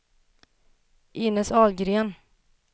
Inez Ahlgren